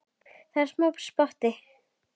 Það er smá spotti.